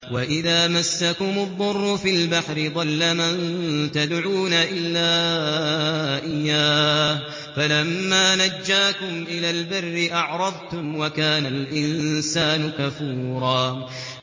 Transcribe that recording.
وَإِذَا مَسَّكُمُ الضُّرُّ فِي الْبَحْرِ ضَلَّ مَن تَدْعُونَ إِلَّا إِيَّاهُ ۖ فَلَمَّا نَجَّاكُمْ إِلَى الْبَرِّ أَعْرَضْتُمْ ۚ وَكَانَ الْإِنسَانُ كَفُورًا